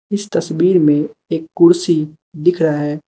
इस तस्वीर में एक कुर्सी दिख रहा है।